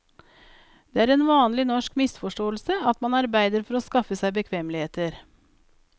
Det er en vanlig norsk misforståelse at man arbeider for å skaffe seg bekvemmeligheter.